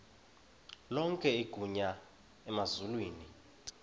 lonke igunya emazulwini